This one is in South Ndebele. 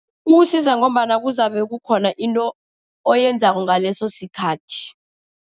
Ukusiza ngombana kuzabe kukhona into oyenzako ngaleso sikhathi.